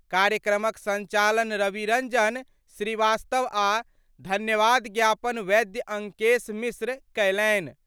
कार्यक्रम क संचालन रवि रंजन श्रीवास्तव आ धन्यवाद ज्ञापन वैद्य अंकेश मिश्र कयलनि।